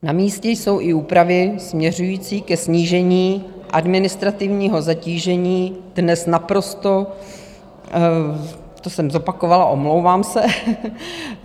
Namístě jsou i úpravy směřující ke snížení administrativního zatížení dnes naprosto... to jsem zopakovala, omlouvám se.